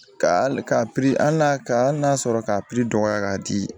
Ka hali ka hali ka hali n'a sɔrɔ k'a dɔgɔya k'a di